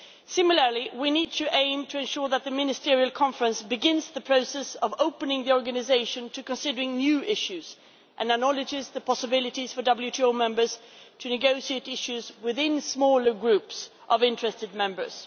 Similarly, we need to aim to ensure that the Ministerial Conference begins the process of opening the Organization to considering new issues and acknowledges the possibilities for WTO members to negotiate issues within smaller groups of interested members.